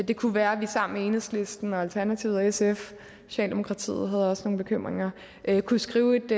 det kunne være at vi sammen med enhedslisten og alternativet og sf socialdemokratiet havde også nogle bekymringer kunne skrive et